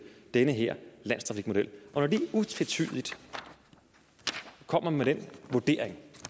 den her landstrafikmodel når de utvetydigt kommer med den vurdering